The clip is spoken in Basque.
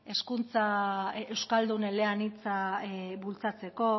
hezkuntza euskaldun eleanitza bultzatzeko